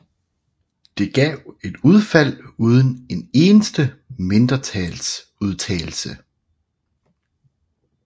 Det gav et udfald uden en eneste mindretalsudtalelse